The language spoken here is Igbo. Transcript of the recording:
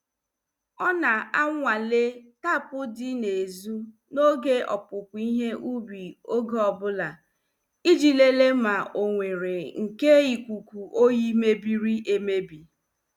Ọ na- anwale tapu dị n' ezu n' oge opupu ihe ubi oge ọbụla, iji lelee ma ọ nwere nke ikuku oyi mebiri emebi.